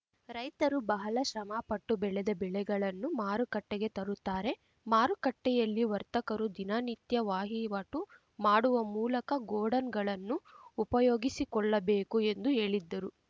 ರೈತರು ಬಹಳ ಶ್ರಮಪಟ್ಟು ಬೆಳೆದ ಬೆಳೆಗಳನ್ನು ಮಾರುಕಟ್ಟೆಗೆ ತರುತ್ತಾರೆ ಮಾರುಕಟ್ಟೆಯಲ್ಲಿ ವರ್ತಕರು ದಿನ ನಿತ್ಯ ವಾಹಿವಾಟು ಮಾಡುವ ಮೂಲಕ ಗೋಡನ್‌ಗಳನ್ನು ಉಪಯೋಗಿಸಿಕೊಳ್ಳಬೇಕು ಎಂದು ಹೇಳಿದ್ದರು